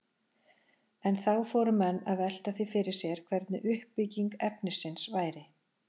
En þá fóru menn að velta því fyrir sér hvernig uppbygging efnisins væri.